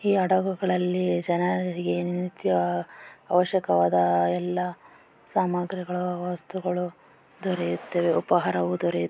ಈ ಅದಗುಗಳಲ್ಲಿ ಜನರು ನಿಂತು ಅವಶಕವಾದ ಎಲ್ಲ ಸಾಮಗ್ರಿಗಳು ವಸ್ತುಗಳು ದರೆಯುತ್ತವೆ ಉಪಾಹಾರ